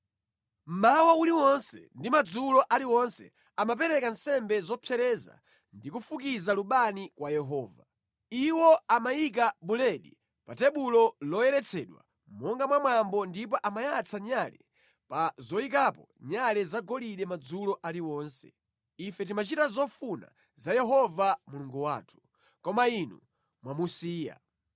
Mmawa uliwonse ndi madzulo aliwonse amapereka nsembe zopsereza ndi kufukiza lubani kwa Yehova. Iwo amayika buledi pa tebulo loyeretsedwa monga mwa mwambo ndipo amayatsa nyale pa zoyikapo nyale zagolide madzulo aliwonse. Ife timachita zofuna za Yehova Mulungu wathu. Koma inu mwamusiya.